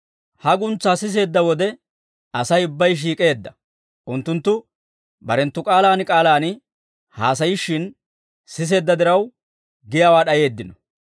Ha guntsaa siseedda wode, Asay ubbay shiik'eedda; unttunttu barenttu k'aalaan k'aalaan haasayishshin siseedda diraw, giyaawaa d'ayeeddino.